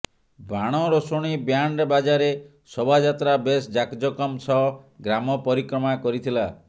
ବାଣ ରୋଷଣୀ ବ୍ୟାଣ୍ଡ ବାଜାରେ ଶୋଭାଯାତ୍ରା ବେଶ୍ ଯାକ ଜମକ ସହ ଗ୍ରାମ ପରିକ୍ରମା କରିଥିଲା